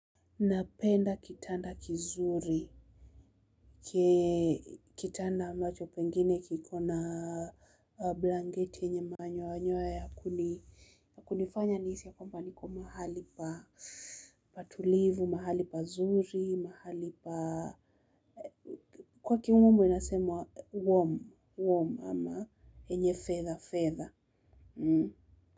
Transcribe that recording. Napenda kitanda kizuri, kitanda ambacho pengine kiko na blangeti yenye manyoya nyoya kunifanya nihisi ya kwamba niko mahali pa tulivu, mahali pa zuri, mahali pa kwa kimombo inasemwa warm, warm ama yenye feather feather.